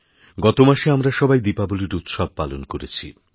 গত মাসে আমরা সবাই দীপাবলির উৎসবপালন করেছি